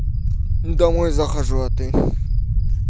домой захожу а ты